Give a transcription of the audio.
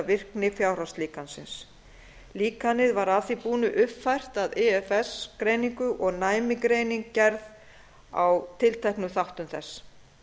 virkni fjárhagslíkansins líkanið var að því búnu uppfært af ifs greiningu og næmnigreining gerð á tilteknum þáttum þess